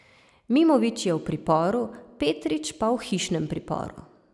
Mimović je v priporu, Petrič pa v hišnem priporu.